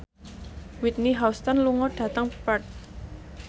Whitney Houston lunga dhateng Perth